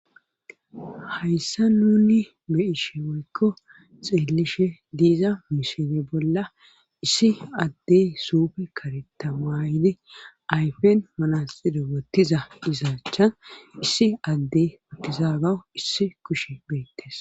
hayssa nuni beishe woykko xeellishe diiza misile bolla issi addey suufe karetamayde ayfen manasedo bottiza isaachan issi adde wuttizagawu issi kushe beettes